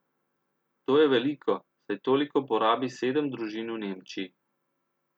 To je veliko, saj toliko porabi sedem družin v Nemčiji.